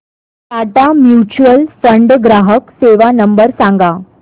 Tata mutual fund ग्राहक सेवा number सांगा